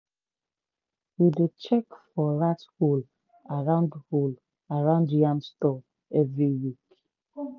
we dey check for rat hole around hole around yam store every week.